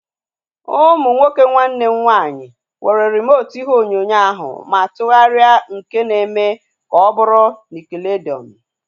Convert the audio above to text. Ụmụ nwoke nwanne m nwaanyị were rimotu ihe onyonyo ahu ma tụgharịa nke na eme ka ọ bụrụ nickelodeon